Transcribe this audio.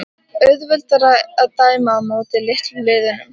Auðveldara að dæma á móti litlu liðunum?